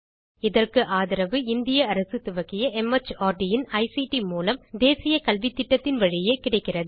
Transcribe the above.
இதற்கு ஆதரவு இந்திய அரசு துவக்கிய மார்ட் இன் ஐசிடி மூலம் தேசிய கல்வித்திட்டத்தின் வழியே கிடைக்கிறது